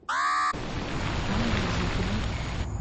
анне зыкиной